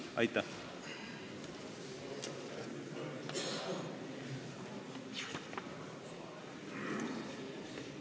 Aitäh!